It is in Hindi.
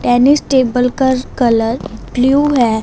टेनिस टेबल कर कलर ब्लू है।